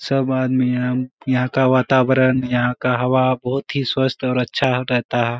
सब आदमी यहां यहां का वातावरण यहां का हवा बहुत ही स्वस्थ और अच्छा हो रहता है।